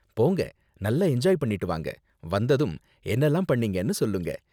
போங்க நல்லா என்ஜாய் பண்ணிட்டு வாங்க, வந்ததும் என்னலாம் பண்னீங்கன்னு சொல்லுங்க.